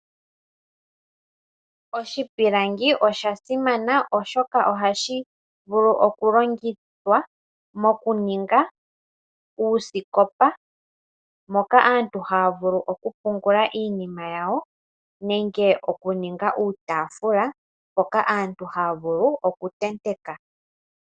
Oshipilangi osha simana oshoka ohashi vulu okulongithwa mokuninga uusikopa moka aantu haya vulu okupungula iinima nenge okuninga uutaafula mpoka aantu haya vulu okutenteka.